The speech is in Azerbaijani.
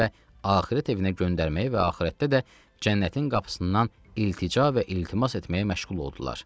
axirət evinə göndərməyi və axirətdə də cənnətin qapısından iltica və iltimas etməyə məşğul oldular.